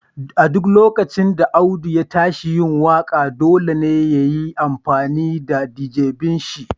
A duk lokacin da Audu ya tashi yin waka, dolle ya yi amfani da d'jeben shi.